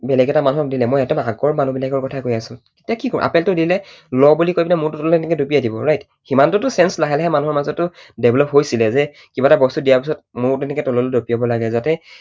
বেলেগ এটা মানুহক দিলে, মই একদম আগৰ মানুহবিলাকৰ কথা কৈ আছো, তেতিয়া কি কঁও, আপেলটো দিলে, ল বুলি কৈ পিনে মূৰটো এনেকৈ তললৈ দুপিয়াই দিব right? সিমানটোতো sense লাহে লাহে মানুহৰ মাজত develop হৈছিলে যে কিবা এটা বস্তু দিয়াৰ পাছত মূৰটো এনেকৈ তললৈ দুপিয়াব লাগে যাতে